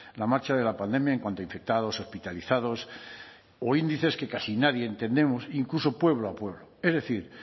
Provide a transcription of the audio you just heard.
la marcha de la pandemia en cuanto a infectados hospitalizados o índices que casi nadie entendemos incluso pueblo a pueblo es decir